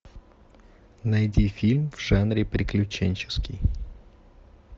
найди фильм в жанре приключенческий